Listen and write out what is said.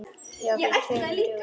Já, fyrir tveim dögum.